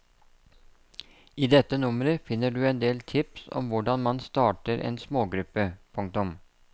I dette nummeret finner du en del tips om hvordan man starter en smågruppe. punktum